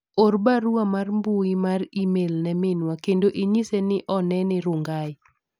or barua mar mbui mar email ne minwa kendo inyiese ni onene Rongai